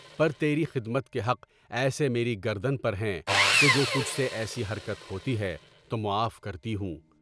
پر تیرے خدمت کے حق ایسے میرے گردن پر ہیں کہ جو تجھ سے ایسی حرکت ہوتی تو معاف کرتی ہوں۔